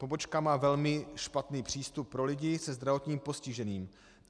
Pobočka má velmi špatný přístup pro lidi se zdravotním postižením.